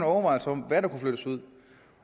overvejelser om hvad der kan flyttes ud